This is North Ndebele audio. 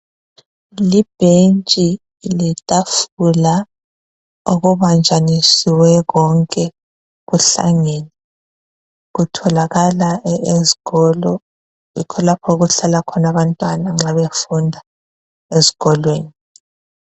Libhentshi letafula okubanjaniswe konke kuhlangene, kutholakala ezikolo. Yikho lapho okuhlala khona abantwana nxa befunda ezikolweni.